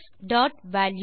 true